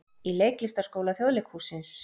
Í Leiklistarskóla Þjóðleikhússins.